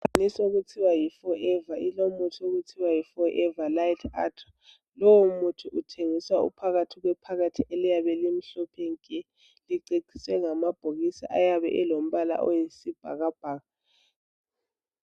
Inisi okuthiwa yiForever, iIlomuthi okuthiwa yiForever Lite Ultra. Lowomuthi uthengiswa uphakathi kwephakathi kwephepha, eliyabe limhlophe nke! Liceciswe ngamabhokisi ayabe elombala oyisibhakabhaka,